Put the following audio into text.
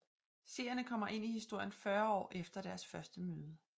Seerne kommer ind i historien 40 år efter deres første møde